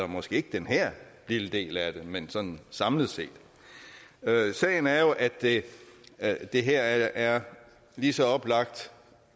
måske ikke den her lille del af det men sådan samlet set sagen er jo at at det her er lige så oplagt